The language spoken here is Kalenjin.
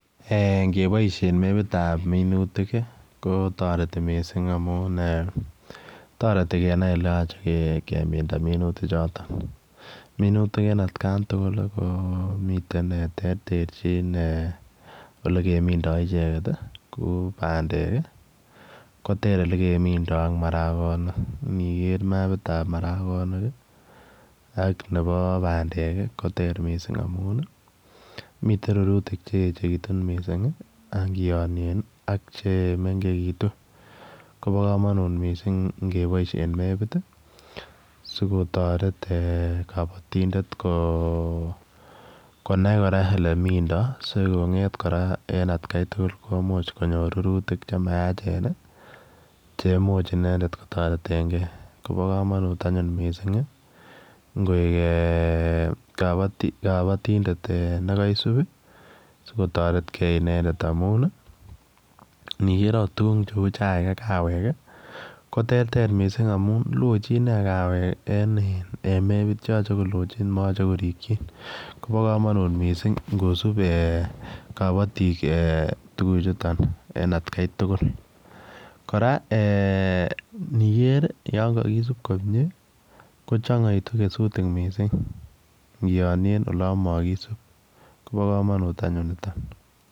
Ngeboishen mepitab minutik, kotoreti mising amun toreti kenai kele yachei kemin minutichotok. Minutik en atkantugul ko terterchin ole kemindoi icheket. Kou bandek, koter ole kemindoi ak marakonik. Niker mapitab marakonik ak nebo bandek koter mising amun mitei rurutik che echekitun mising ak kianien chemengekitu. Bo komonut mising ngeboishen mapit si kotoret kabotindet konai kora ole mindoi sikong'et kora eng agai tugul komuch konyor rurutik chenayachen chemuch kotoret inendet . Kobo komanut anyun ngoyor kabotindet yekaisub sikotoretgei inendet amun niger agot tukuk cheu chai ak kawek, koterter lochin anyun kawek moyachei korikchin. Bo komonut mising ngosub kabotik tukuchut en atkei tugul. Kora niger yon kakisup komie kochangaitu kesutik mising keyonien olo makisup ko bomonut anyun nitok.